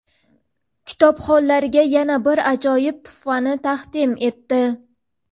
kitobxonlarga yana bir ajoyib tuhfani taqdim etdi.